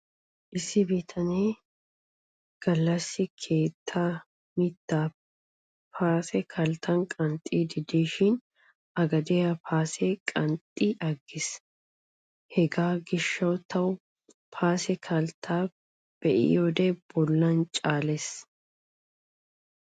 Issi bitane ini gallassi keettaa mittaa paase kalttan qanxxiiddi dishin A gediya paase qanxxi aggiis. Hegaa gishshawu tawu paase kalttaa be'iyode bollan caalees.